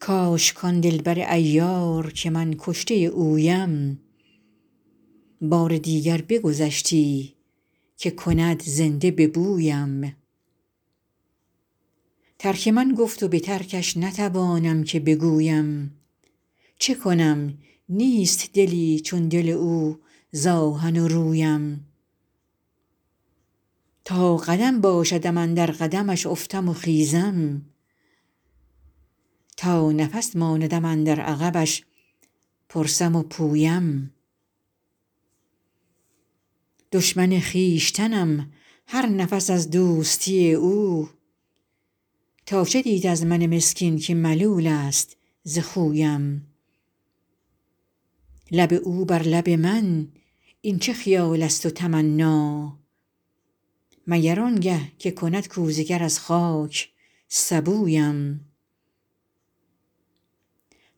کاش کان دل بر عیار که من کشته اویم بار دیگر بگذشتی که کند زنده به بویم ترک من گفت و به ترکش نتوانم که بگویم چه کنم نیست دلی چون دل او ز آهن و رویم تا قدم باشدم اندر قدمش افتم و خیزم تا نفس ماندم اندر عقبش پرسم و پویم دشمن خویشتنم هر نفس از دوستی او تا چه دید از من مسکین که ملول است ز خویم لب او بر لب من این چه خیال است و تمنا مگر آن گه که کند کوزه گر از خاک سبویم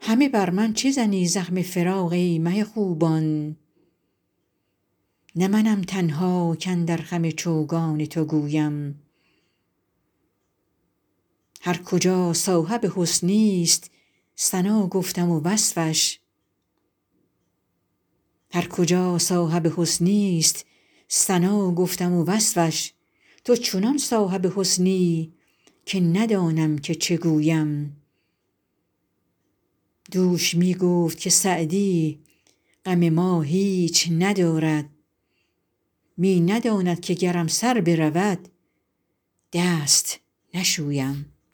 همه بر من چه زنی زخم فراق ای مه خوبان نه منم تنها کاندر خم چوگان تو گویم هر کجا صاحب حسنی ست ثنا گفتم و وصفش تو چنان صاحب حسنی که ندانم که چه گویم دوش می گفت که سعدی غم ما هیچ ندارد می نداند که گرم سر برود دست نشویم